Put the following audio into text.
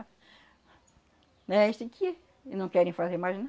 É esse aqui, e não querem fazer mais